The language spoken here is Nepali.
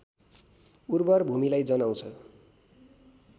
उर्वर भूमीलाई जनाउँछ